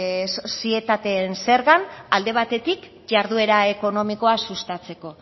sozietateen zergan alde batetik jarduera ekonomikoa sustatzeko